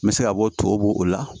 N bɛ se ka bɔ tɔw bo o la